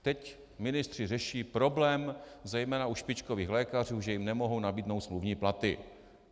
Teď ministři řeší problém zejména u špičkových lékařů, že jim nemohou nabídnou smluvní platy.